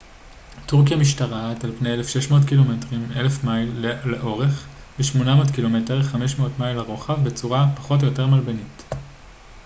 "טורקיה משתרעת על פני 1,600 קילומטרים 1,000 מייל לאורך ו-800 ק""מ 500 מייל לרוחב בצורה פחות או יותר מלבנית.